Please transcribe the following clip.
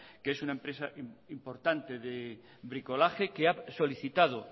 que es una empresa importante de bricolaje que ha solicitado